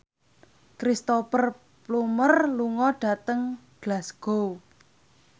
Cristhoper Plumer lunga dhateng Glasgow